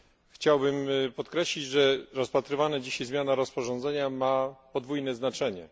Chciałbym podkreślić, że rozpatrywana dziś zmiana rozporządzenia ma podwójne znaczenie.